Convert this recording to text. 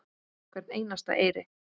Hvern einasta eyri.